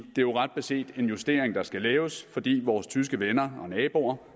jo ret beset en justering der skal laves fordi vores tyske venner og naboer